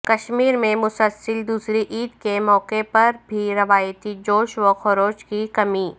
کشمیر میں مسلسل دوسری عید کے موقع پر بھی روایتی جوش و خروش کی کمی